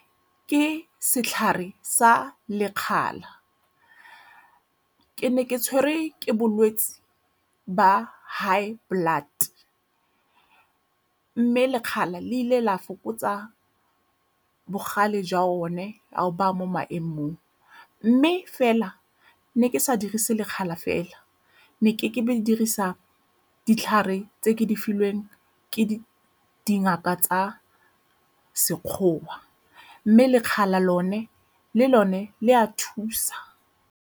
Ke setlhare sa lekgala. Ke ne ke tshwerwe ke bolwetse ba high blood mme lekgala le ile la fokotsa bogale jwa one ao baya mo maemong mme fela ne ke sa dirise lekgala fela ne ke dirisa ditlhare tse ke di filweng ke dingaka tsa sekgowa mme lekgala lone le lone le a thusa.